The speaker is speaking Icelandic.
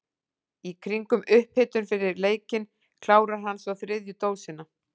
Í kringum upphitun fyrir leikinn klárar hann svo þriðju dósina.